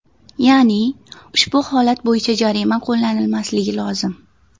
Ya’ni ushbu holat bo‘yicha jarima qo‘llanilmasligi lozim.